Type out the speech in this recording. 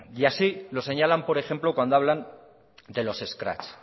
y así los señalan por ejemplo cuando hablan de los escraches